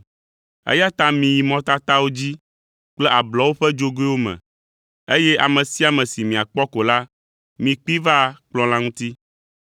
eya ta miyi mɔtatawo dzi kple ablɔwo ƒe dzogoewo me, eye ame sia ame si miakpɔ ko la, mikpee va kplɔ̃ la ŋuti.’